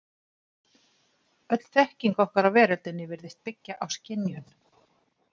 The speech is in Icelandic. Öll þekking okkar á veröldinni virðist byggja á skynjun.